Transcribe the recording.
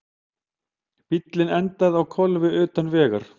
Bíllinn endaði á hvolfi utan vegar